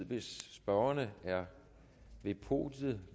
hvis spørgerne er ved podiet